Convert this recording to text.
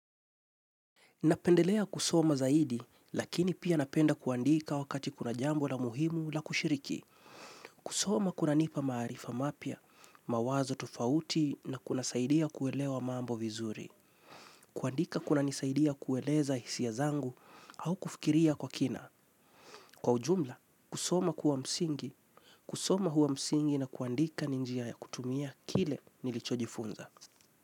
Napendelea kusoma zaidi, lakini pia napenda kuandika wakati kuna jambo la muhimu la kushiriki. Kusoma kunanipa maarifa mapya, mawazo tofauti na kuna saidia kuelewa mambo vizuri. Kuandika kunanisaidia kueleza hisia zangu au kufikiria kwa kina. Kwa ujumla, kusoma kuwa msingi, kusoma huwa msingi na kuandika ni njia ya kutumia kile nilicho jifunza.